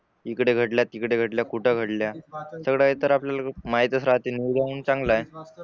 इकडे घडल्या तिकडे घडल्या कुठे घडल्या सगळं आहे तर आपल्याला माहीत राहाते म्हणून चांगला आहे.